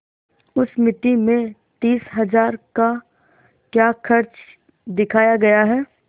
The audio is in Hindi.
उस मिती में तीस हजार का क्या खर्च दिखाया गया है